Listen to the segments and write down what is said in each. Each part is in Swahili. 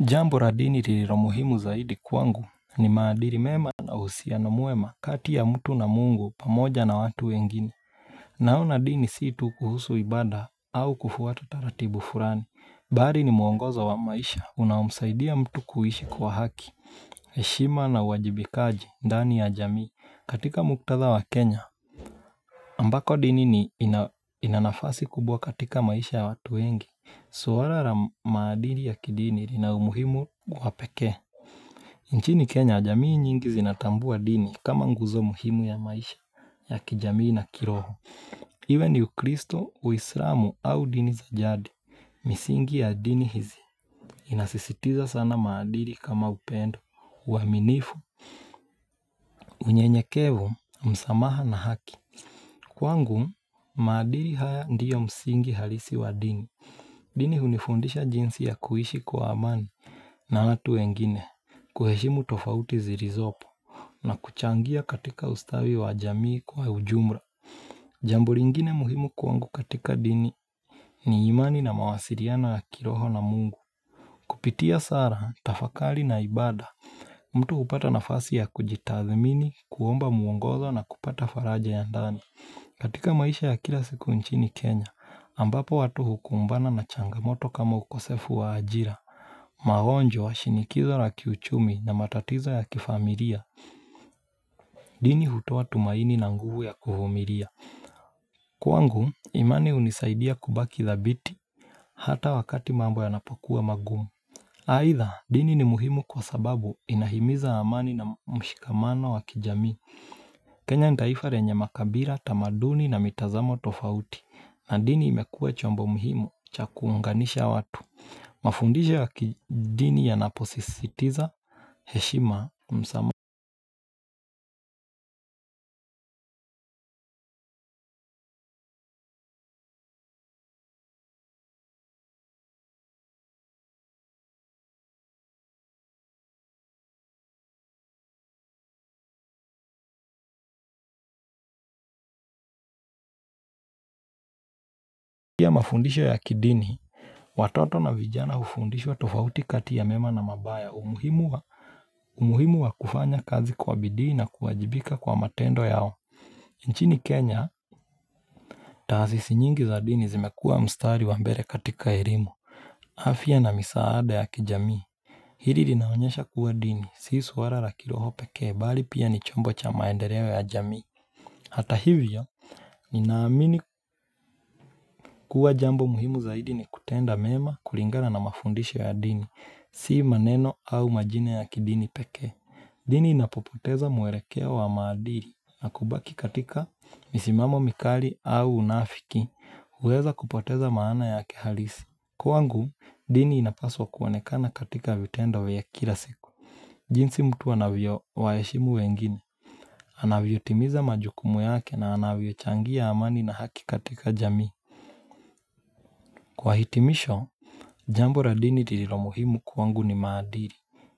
Jambo la dini lililo muhimu zaidi kwangu ni maadili mema na uhusiano mwema kati ya mtu na mungu pamoja na watu wengine Naona dini si tu kuhusu ibada au kufuata taratibu fulani, bali ni mwongoza wa maisha unaomsaidia mtu kuishi kuwa haki heshima na uwajibikaji ndani ya jamii katika muktadha wa Kenya ambako dini ina nafasi kubwa katika maisha ya watu wengi. Swala la maadili ya kidini lina umuhimu wa pekee. Nchini Kenya, jamii nyingi zinatambua dini kama nguzo muhimu ya maisha ya kijamii na kiroho. Iwe ni ukristo, uislamu au dini za jadi, misingi ya dini hizi. Inasisitiza sana maadili kama upendo, uaminifu, unyenyekevu, msamaha na haki. Kwangu, maadili haya ndiyo msingi halisi wa dini. Dini hunifundisha jinsi ya kuishi kwa amani na watu wengine, kuheshimu tofauti zilizopo na kuchangia katika ustawi wa jamii kwa ujumla. Jambo lingine muhimu kwangu katika dini ni imani na mawasiliano ya kiroho na mungu. Kupitia sala, tafakari na ibada, mtu hupata nafasi ya kujitathmini, kuomba mwongozo na kupata faraja ya ndani. Katika maisha ya kila siku nchini Kenya, ambapo watu hukumbana na changamoto kama ukosefu wa ajira. Maonjo wa shinikizo la kiuchumi na matatizo ya kifamilia, dini hutoa tumaini na nguvu ya kuvumilia. Kwangu, imani hunisaidia kubaki dhabiti hata wakati mambo yanapokuwa magumu. Aidha, dini ni muhimu kwa sababu inahimiza amani na mshikamano wa kijamii. Kenya ni taifa lenye makabila, tamaduni na mitazamo tofauti na dini imekuwa chombo muhimu cha kuunganisha watu Mafundisho ya kidini yanaposisitiza heshima, Mafundisho ya kidini Watoto na vijana hufundishwa tofauti kati ya mema na mabaya umuhimu wa umuhimu wa kufanya kazi kwa bidii na kuwajibika kwa matendo yao nchini Kenya taasisi nyingi za dini zimekuwa mstari wa mbele katika elimu afya na misaada ya kijamii Hili linaonyesha kuwa dini, si swala la kiroho pekee, bali pia ni chombo cha maendeleo ya jamii. Hata hivyo, ninaamini kuwa jambo muhimu zaidi ni kutenda mema kulingana na mafundisho ya dini, si maneno au majina ya kidini pekee. Dini inapopoteza mwelekeo wa maadili, na kubaki katika misimamo mikali au unafiki, huweza kupoteza maana yake halisi. Kwangu, dini inapaswa kuonekana katika vitendo ya kila siku. Jinsi mtu anavyowaheshimu wengine, anavyotimiza majukumu yake na anavyochangia amani na haki katika jamii. Kwa hitimisho, jambo la dini lililo muhimu kwangu ni maadili,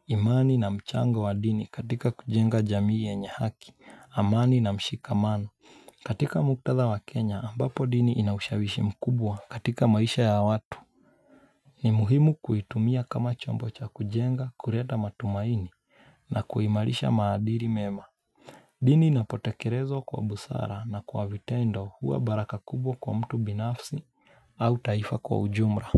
imani na mchanga wa dini katika kujenga jamii yenye haki, amani na mshikamano. Katika muktadha wa Kenya, ambapo dini ina ushawishi mkubwa katika maisha ya watu. Ni muhimu kuitumia kama chombo cha kujenga, kuleta matumaini, na kuimarisha maadili mema. Dini inapotekelezwa kwa busara na kwa vitendo huwa baraka kubwa kwa mtu binafsi au taifa kwa ujumla.